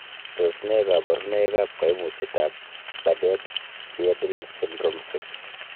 Tos nee koborunoikab koimutietab Bardet Biedl syndrome 6?